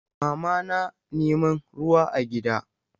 Mama na neman ruwa a gida.